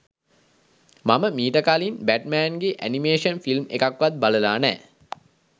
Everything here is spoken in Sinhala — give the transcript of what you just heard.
මම මීට කලින් බැට්මෑන්ගේ ඇනිමේෂන් ෆිල්ම් එකක්වත් බලලා නෑ.